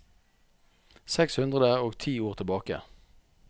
Seks hundre og ti ord tilbake